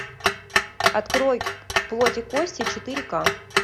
открой плоть и кости четыре ка